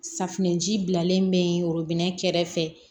Safunɛji bilalen bɛ worobinɛ kɛrɛfɛ